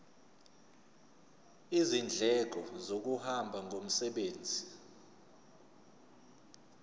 izindleko zokuhamba ngomsebenzi